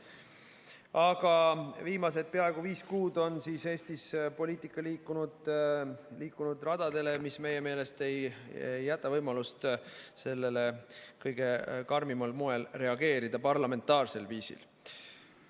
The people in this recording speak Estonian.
Aga viimased peaaegu viis kuud on Eesti poliitika liikunud radadele, mis meie meelest ei jäta võimalust jätta sellele reageerimata kõige karmimal parlamentaarsel viisil.